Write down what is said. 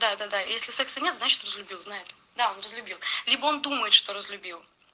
да да да если секса нет значит разлюбил знай это да он разлюбил либо он думает что разлюбил